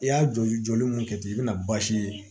I y'a joli jɔli mun kɛ ten i bɛna baasi ye